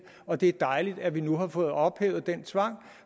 og det er dejligt at vi nu har fået ophævet den tvang